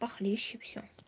похлеще всё